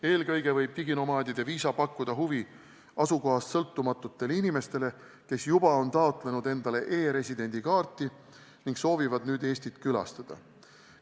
Eelkõige võib diginomaadide viisa pakkuda huvi asukohast sõltumatutele töötajatele, kes juba on taotlenud endale e-residendi kaarti ning soovivad nüüd Eestit külastada.